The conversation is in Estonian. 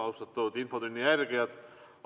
Austatud infotunni jälgijad!